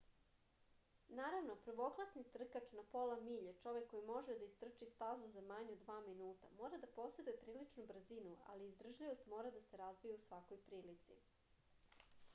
naravno prvoklasni trkač na pola milje čovek koji može da istrči stazu za manje od dva minuta mora da poseduje priličnu brzinu ali izdržljivost mora da se razvija u svakoj prilici